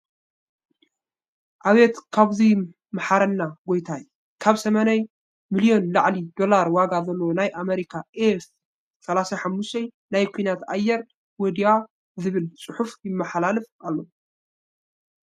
ኣብየት ካብዙይ ማሓረና ጎታይ !ካብ 80 ሚልዮን ንላዕሊ ዶላር ዋጋ ዘለዎ ናይ ኣሜርካ ኤፍ-35 ናይ ኩናት ኣየር ወዲዋ ዝብል ፅሑፍ ይማሓላልፍ ኣሎ።